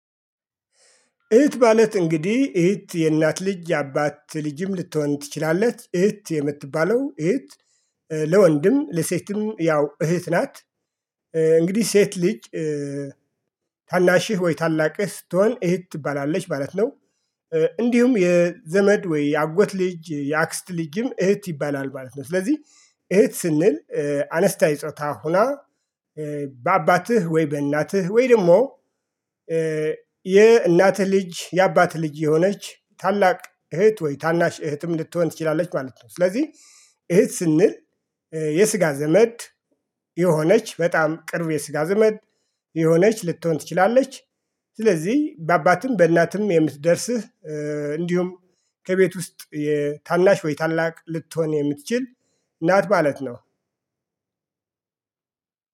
እህት ማለት እንግዲህ እህት የእናት ልጅ የአባት ልጅም ልትሆን ትችላለች እህት የምትባለው እህት ለወንድም ለሴትም ያው እህት ናት። እንግዲህ ሴት ልጅ ታናሽህ ወይ ታላቅህ ስትሆን እህት ትባላለች ማለት ነው። እንዲሁም የዘመድ ወይ የአጎት ልጅ የአክስት ልጅም እህት ይባላል ማለት ነው። ስለዚህ እህት ስንል አነስታይ ጾታ ሆና በአባትህ ወይ በእናትህ ወይ ደግሞ የእናትህ ልጅ የአባትህ ልጅ የሆነች ታላቅ እህት ወይ ታናሽ እህትም ልትሆን ትችላለች ማለት ነው። ስለዚህ እህት ስንል የስጋ ዘመድ የሆነች በጣም ቅርብ የስጋ ዘመድ የሆነች ልትሆን ትችላለች። ስለዚህ በአባትም በእናትም የምትደርስህ እንዲሁም ከቤት ውስጥ የታናሽ ወይ ታላቅ ልትሆን የምትችል ናት ማለት ነው።